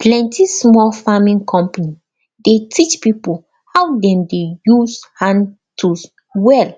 plenty small farming company dey teach pipo how dem de use hand tools well